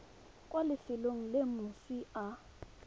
kwa lefelong le moswi a